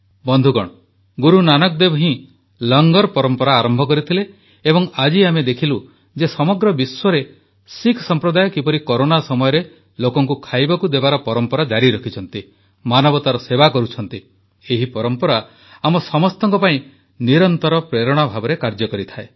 ବନ୍ଧୁଗଣ ଗୁରୁନାନକ ଦେବ ହିଁ ଲଙ୍ଗର ପରମ୍ପରା ଆରମ୍ଭ କରିଥିଲେ ଏବଂ ଆଜି ଆମେ ଦେଖିଲୁ ଯେ ସମଗ୍ର ବିଶ୍ୱରେ ଶିଖ ସମ୍ପ୍ରଦାୟ କିପରି କରୋନା ସମୟରେ ଲୋକଙ୍କୁ ଖାଇବାକୁ ଦେବାର ପରମ୍ପରା ଜାରି ରଖିଛନ୍ତି ମାନବତାର ସେବା କରୁଛନ୍ତି ଏହି ପରମ୍ପରା ଆମ ସମସ୍ତଙ୍କ ପାଇଁ ନିରନ୍ତର ପ୍ରେରଣା ଭାବରେ କାର୍ଯ୍ୟ କରେ